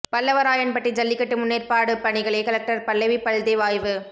பல்லவராயன்பட்டி ஜல்லிக்கட்டு முன்னேற்பாடுபணிகளை கலெக்ட்ர் பல்லவி பல்தேவ் ஆய்வு